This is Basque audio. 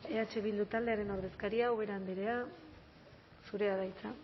eh bildu taldearen ordezkaria ubera andrea zurea da hitza